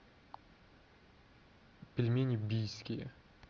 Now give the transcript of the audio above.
пельмени бийские